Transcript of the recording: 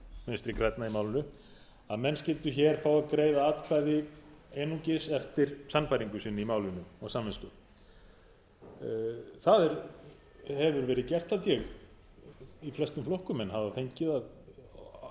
vinstri grænna í málinu að menn skyldu hér fá að greiða atkvæði einungis eftir sannfæringu sinni í málinu og samvisku það hefur verið gert held ég í flestum flokkum menn hafa fengið